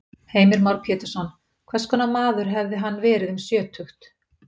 Heimir Már Pétursson: Hvers konar maður hefði hann verið um sjötugt?